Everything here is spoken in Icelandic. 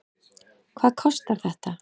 Hvað kostar þetta?